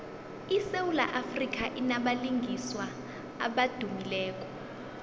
isewula afrika inabalingiswa abadumileko